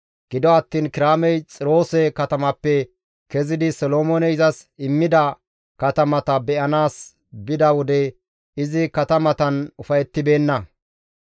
Gido attiin Kiraamey Xiroose katamappe kezidi Solomooney izas immida katamata be7anaas bida wode izi katamatan ufayettibeenna.